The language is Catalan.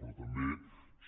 però també